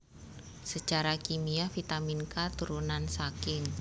Sacara kimia vitamin K turunan saking